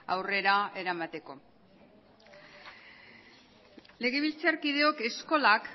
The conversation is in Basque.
aurrera eramateko legebiltzarkideok eskolak